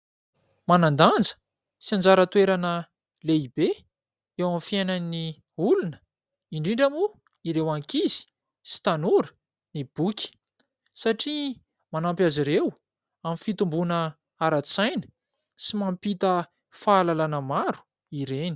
Manan-danja sy anjara toerana lehibe eo amin'ny fiainan'ny olona indrindra moa ireo ankizy sy tanora ny boky satria manampy azy ireo amin'ny fitomboana ara-tsaina sy mampita fahalalàna maro ireny.